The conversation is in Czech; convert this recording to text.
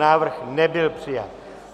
Návrh nebyl přijat.